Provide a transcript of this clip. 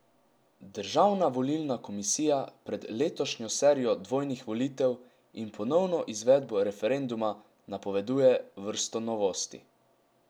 Državna volilna komisija pred letošnjo serijo dvojnih volitev in ponovno izvedbo referenduma napoveduje vrsto novosti.